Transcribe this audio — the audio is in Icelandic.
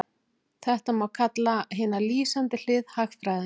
þetta má kalla hina lýsandi hlið hagfræðinnar